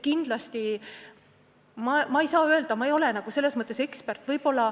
Kindlasti, ma ei ole selles mõttes ekspert.